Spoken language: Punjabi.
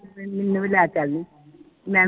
ਮੈਨੂੰ ਵੀ ਲੈ ਚਲ ਮੈਂ ਵੀ